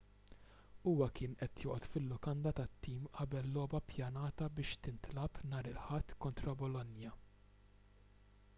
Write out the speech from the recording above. huwa kien qed joqgħod fil-lukanda tat-tim qabel logħba ppjanata biex tintlagħab nhar il-ħadd kontra bolonia